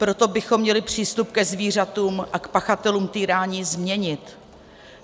Proto bychom měli přístup ke zvířatům a k pachatelům týrání změnit.